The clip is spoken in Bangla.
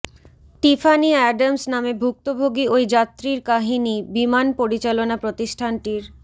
টিফানি অ্যাডামস নামে ভুক্তভোগী ওই যাত্রীর কাহিনি বিমান পরিচালনা প্রতিষ্ঠানটির